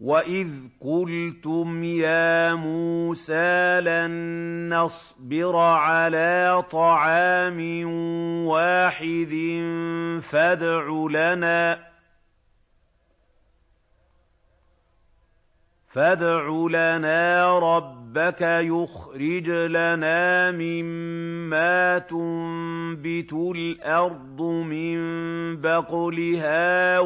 وَإِذْ قُلْتُمْ يَا مُوسَىٰ لَن نَّصْبِرَ عَلَىٰ طَعَامٍ وَاحِدٍ فَادْعُ لَنَا رَبَّكَ يُخْرِجْ لَنَا مِمَّا تُنبِتُ الْأَرْضُ مِن بَقْلِهَا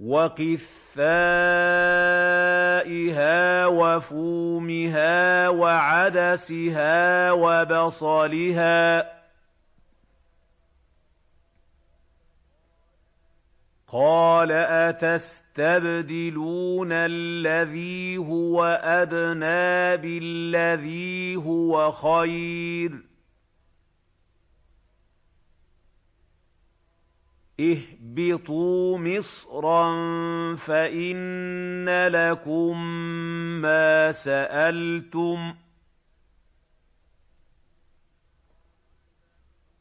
وَقِثَّائِهَا وَفُومِهَا وَعَدَسِهَا وَبَصَلِهَا ۖ قَالَ أَتَسْتَبْدِلُونَ الَّذِي هُوَ أَدْنَىٰ بِالَّذِي هُوَ خَيْرٌ ۚ اهْبِطُوا مِصْرًا فَإِنَّ لَكُم مَّا سَأَلْتُمْ ۗ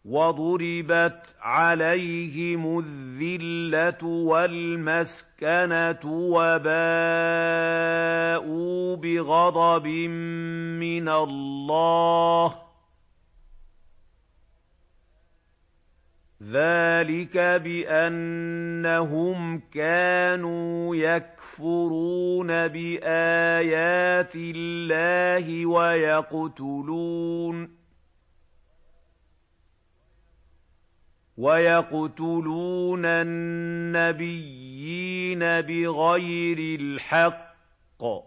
وَضُرِبَتْ عَلَيْهِمُ الذِّلَّةُ وَالْمَسْكَنَةُ وَبَاءُوا بِغَضَبٍ مِّنَ اللَّهِ ۗ ذَٰلِكَ بِأَنَّهُمْ كَانُوا يَكْفُرُونَ بِآيَاتِ اللَّهِ وَيَقْتُلُونَ النَّبِيِّينَ بِغَيْرِ الْحَقِّ ۗ ذَٰلِكَ بِمَا عَصَوا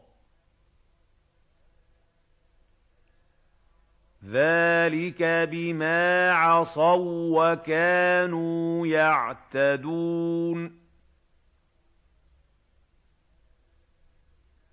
وَّكَانُوا يَعْتَدُونَ